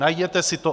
Najděte si to.